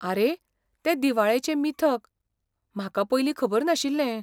आरे, तें दिवाळेचें मिथक. म्हाका पयलीं खबर नाशिल्लें.